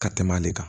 Ka tɛmɛ ale kan